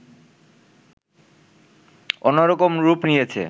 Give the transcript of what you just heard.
অন্যরকম রূপ নিয়েছে